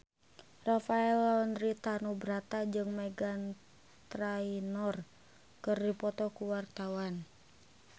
Rafael Landry Tanubrata jeung Meghan Trainor keur dipoto ku wartawan